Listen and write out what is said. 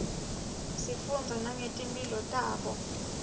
sifundza nangetimpihlo tabo